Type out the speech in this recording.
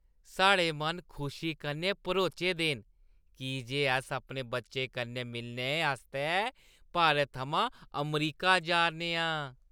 साढ़े मन खुशी कन्नै भरोचे दे न की जे अस अपने बच्चें कन्नै मिलने आस्तै भारत थमां अमरीका जा 'रने आं।